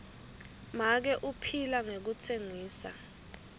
make uphila ngekutsengisa